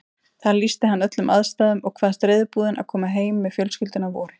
Þar lýsti hann öllum aðstæðum og kvaðst reiðubúinn að koma heim með fjölskylduna að vori.